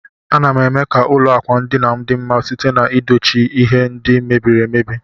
Anam eme ka ụlọ akwandinam di mma site na edochi ihe ndi mebiri emebi.